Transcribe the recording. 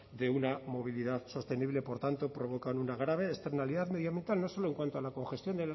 de una movilidad sostenible por tanto provocan una grave externalidad medioambiental no solo en cuanto a la congestión